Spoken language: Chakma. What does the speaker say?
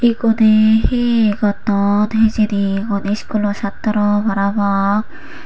eguney he gotton hejeni hon iskulo sattro parapang.